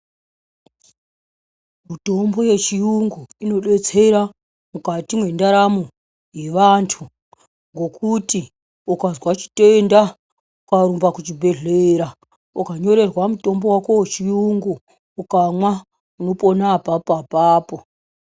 Mitombo yechiyungu, inodetsera mukati mendaramo yevanthu, ngokuti ukazva chitenda, ukarumba kuchibhedhlera, ukanyorerwa mutombo wako wechiyungu, ukamwa unopona apapo apapo.